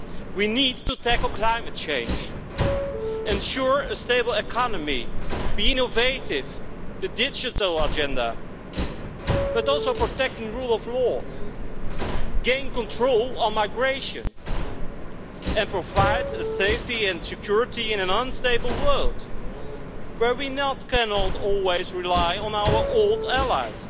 We need to tackle climate change, ensure a stable economy, be innovative, the digital agenda, but also protect the rule of law, gain control on migration and provide safety and security in an unstable world, where we cannot always rely on our old allies.